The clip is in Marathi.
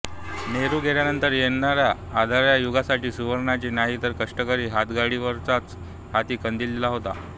नेहरू गेल्यानंतर येणाऱ्या अंधारया युगासाठी सुर्व्यानी नाही का कष्टकरी हातगाडीवाल्याचाच हाती कंदील दिला होता